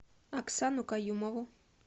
оксану каюмову